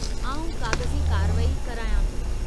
आउं काग़ज़ी कारवाई करायां थो।